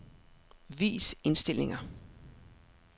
Vis indstillinger.